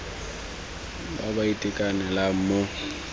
ba ba sa itekanelang mo